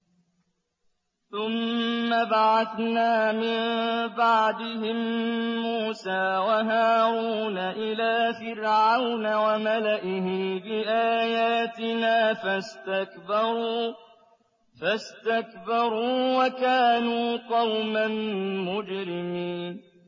ثُمَّ بَعَثْنَا مِن بَعْدِهِم مُّوسَىٰ وَهَارُونَ إِلَىٰ فِرْعَوْنَ وَمَلَئِهِ بِآيَاتِنَا فَاسْتَكْبَرُوا وَكَانُوا قَوْمًا مُّجْرِمِينَ